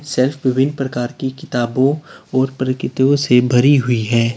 Shelf विभिन्न प्रकार की किताबों और प्रकितयों से भरी हुई है।